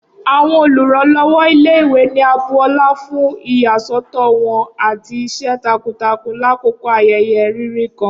Awọn oluranlọwọ ile-iwe ni a bu ọla fun iyasọtọ wọn ati iṣẹ takuntakun lakoko ayẹyẹ riri kan